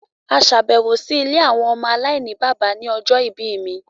À ṣabẹwo si awọn ìlé awọn ọmọ alainibaba ni ọjọ ibi mi